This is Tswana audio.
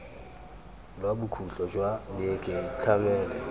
lwa bokhutlo jwa beke itlhamele